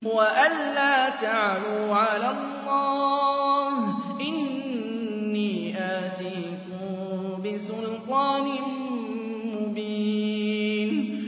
وَأَن لَّا تَعْلُوا عَلَى اللَّهِ ۖ إِنِّي آتِيكُم بِسُلْطَانٍ مُّبِينٍ